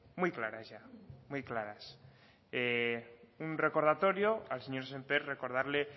muy claras ya un recordatorio al señor sémper recordarle